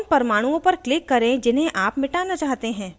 उन परमाणुओं पर click करें जिन्हें आप मिटाना चाहते हैं